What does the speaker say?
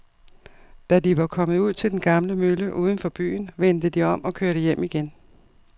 Da de var kommet ud til den gamle mølle uden for byen, vendte de om og kørte hjem igen.